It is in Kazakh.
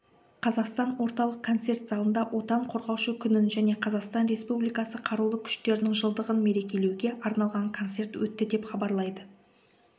қазақстан орталық концерт залында отан қорғаушы күнін және қазақстан республикасы қарулы күштерінің жылдығын мерекелеуге арналған концерт өтті деп хабарлайды